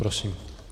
Prosím.